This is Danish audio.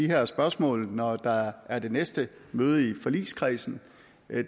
her spørgsmål når der er er det næste møde i forligskredsen